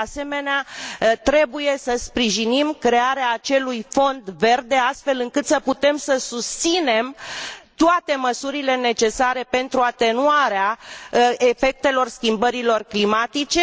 De asemenea, trebuie să sprijinim crearea acelui Fond verde, astfel încât să putem să susținem toate măsurile necesare pentru atenuarea efectelor schimbărilor climatice.